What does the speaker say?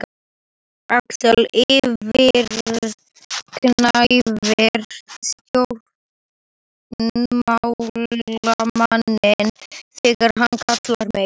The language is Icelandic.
Axel yfirgnæfir stjórnmálamanninn þegar hann kallar á mig.